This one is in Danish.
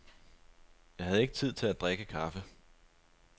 Jeg havde ikke tid til at drikke kaffe.